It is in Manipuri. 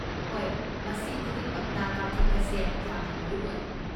ꯍꯣꯏ, ꯃꯁꯤ ꯈꯨꯗꯤꯡꯃꯛꯅ ꯀꯥꯞꯊꯣꯛꯄꯁꯦ ꯌꯥꯝꯅ ꯃꯔꯨ ꯑꯣꯏ꯫